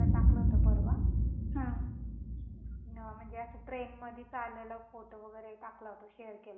ह म्हणजे अस ट्रेन मध्ये काढलेला फोटो वैगरे टाकला होता शेयर केलता व्हाटस अॅपच्या स्टेटस वरती.